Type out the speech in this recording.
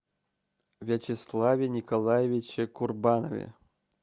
вячеславе николаевиче курбанове